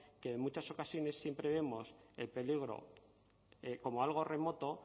que en muchas ocasiones siempre vemos peligro como algo remoto